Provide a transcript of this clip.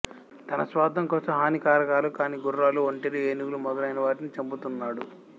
తన స్వార్ధం కోసం హానికారకాలు కాని గుర్రాలు ఒంటెలు ఏనుగులు మొదలైనవాటిని చంపుతున్నాడు